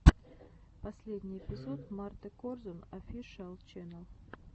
последний эпизод марты корзун офишиал ченнал